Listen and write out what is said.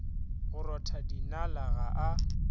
go rotha dinala ga a